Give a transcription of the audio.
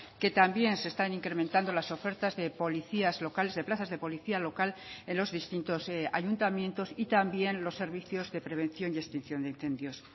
que también se están incrementando las ofertas de policías locales de plazas de policía local en los distintos ayuntamientos y también los servicios de prevención y extinción de incendios